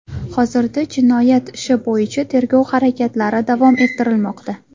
Hozirda jinoyat ishi bo‘yicha tergov harakatlari davom ettirilmoqda.